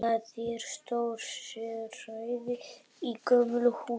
Það er stór sérhæð í gömlu húsi.